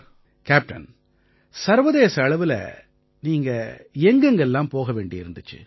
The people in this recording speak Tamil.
கேப்டன் சர்வதேச அளவுல நீங்க எங்க எங்க எல்லாம் போக வேண்டி இருந்திச்சு